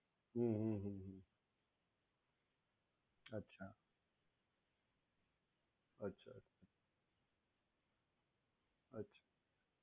હમ્મ હમ્મ હમ્મ અચ્છા અચ્છા અચ્છા